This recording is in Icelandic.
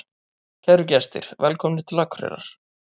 Kæru gestir! Velkomnir til Akureyrar.